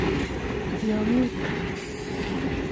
tiong'ik